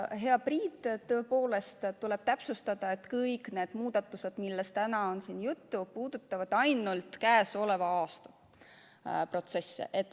Hea Priit, tõepoolest tuleb täpsustada, et kõik need muudatused, millest siin täna on juttu, puudutavad ainult käesoleva aasta protsesse.